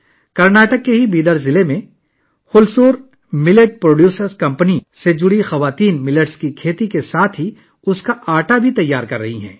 کرناٹک کے بیدر ضلع میں، ہلسور ملیٹ پروڈیوسر کمپنی سے وابستہ خواتین جوار کی کاشت کرنے کے ساتھ ساتھ اس کا آٹا بھی تیار کر رہی ہیں